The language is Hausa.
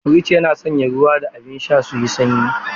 Firji yana sanya ruwa da abin sha suyi sanyi.